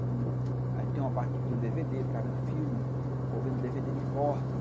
Aí tinha uma parte que tinha um dê vê dê, eu ficava vendo filme, ou vendo dê vê dê de corte.